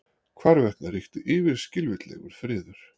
Hvarvetna ríkti yfirskilvitlegur friður.